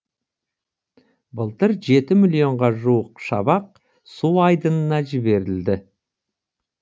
былтыр жеті миллионға жуық шабақ су айдынына жіберілді